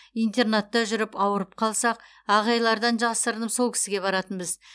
интернатта жүріп ауырып қалсақ ағайлардан жасырынып сол кісіге баратынбыз